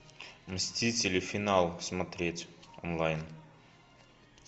мстители финал смотреть онлайн